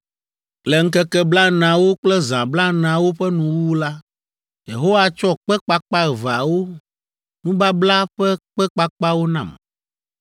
Le ŋkeke blaeneawo kple zã blaeneawo ƒe nuwuwu la, Yehowa tsɔ kpe kpakpa eveawo, nubabla ƒe kpe kpakpawo nam.